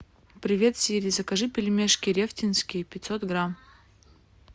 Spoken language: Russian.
привет сири закажи пельмешки рефтинские пятьсот грамм